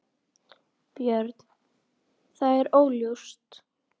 Björn: Það er óljóst?